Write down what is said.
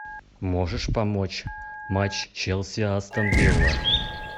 можешь помочь матч челси астон вилла